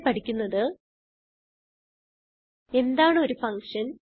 ഇവിടെ പഠിക്കുന്നത് എന്താണ് ഒരു ഫങ്ഷൻ